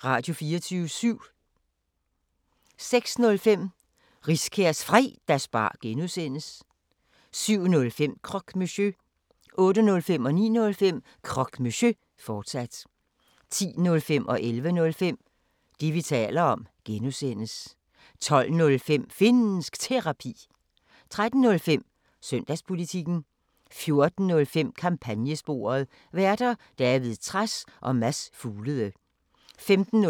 06:05: Riskærs Fredagsbar (G) 07:05: Croque Monsieur 08:05: Croque Monsieur, fortsat 09:05: Croque Monsieur, fortsat 10:05: Det, vi taler om (G) 11:05: Det, vi taler om (G) 12:05: Finnsk Terapi 13:05: Søndagspolitikken 14:05: Kampagnesporet: Værter: David Trads og Mads Fuglede 15:05: Aflyttet